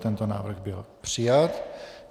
Tento návrh byl přijat.